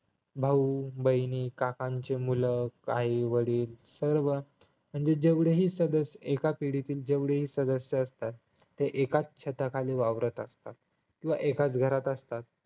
भाऊ बहिणी काकांची मुलं आई वडील सर्वजण वृद्ध हि सदस्य एका पिढीतील जेवढे सदस्य असतात ते एकाच छता खाली वावरत असतात किंवा एकाच घरात असतात